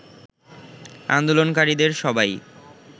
আন্দোলনকারীদের সবাই